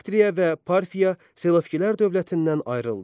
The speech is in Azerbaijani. Baktriya və Parfiya Selevkilər dövlətindən ayrıldı.